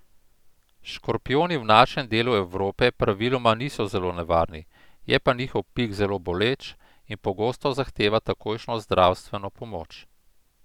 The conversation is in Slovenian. Škorpijoni v našem delu Evrope praviloma niso zelo nevarni, je pa njihov pik zelo boleč in pogosto zahteva takojšnjo zdravstveno pomoč.